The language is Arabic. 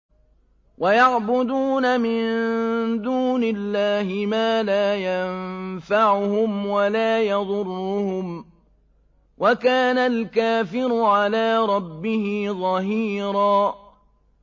وَيَعْبُدُونَ مِن دُونِ اللَّهِ مَا لَا يَنفَعُهُمْ وَلَا يَضُرُّهُمْ ۗ وَكَانَ الْكَافِرُ عَلَىٰ رَبِّهِ ظَهِيرًا